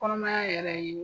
Kɔnɔmaya yɛrɛ ye